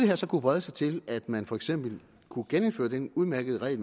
her så kunne brede sig til at man for eksempel kunne genindføre den udmærkede regel